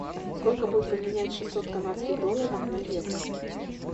сколько будет поменять шестьсот канадских долларов на евро